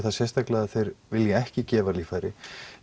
að þeir vilji ekki gefa líffæri